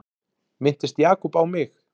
Minntist Jakob á mig?